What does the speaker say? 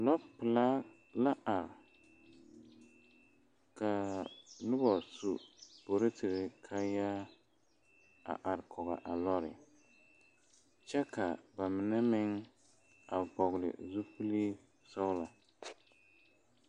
Lɔpelaa la are kaa nobɔ su poroserre kaayaa a are kɔge a lɔre kyɛ la ba mine meŋ a vɔgle zupile sɔglɔ.